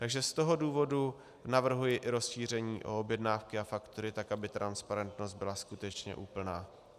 Takže z toho důvodu navrhuji i rozšíření o objednávky a faktury tak, aby transparentnost byla skutečně úplná.